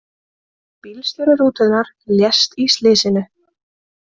Bílstjóri rútunnar lést í slysinu